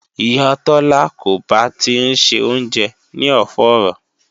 Ìyá Tola ko ba ti ń ṣe oúnjẹ ní ọ̀fọ́ọ̀rọ̀